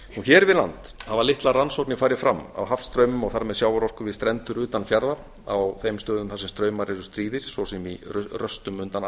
hér við land hafa litlar rannsóknir farið fram á hafstraumum og þar með sjávarorku við strendur utan fjarða á þeim stöðum þar sem straumar eru stríðir svo sem í röstum